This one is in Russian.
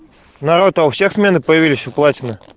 народ а у всех смены появились у платина